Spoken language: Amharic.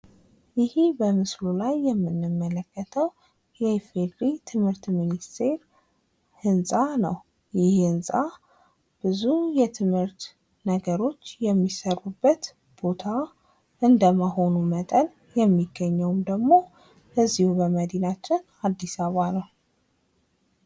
ይህ በምስሉ ላይ የምንመለከተው የኢፌዴሪ ትምህርት ሚንስቴር ህንፃ ነው ። ይህ ህንፃ ብዙ የትምህርት ነገሮች የሚሰሩበት ቦታ እንደመሆኑ መጠን የሚገኘውም ደግሞ በዚሁ በመዲናችን አዲስ አበባ ነው ።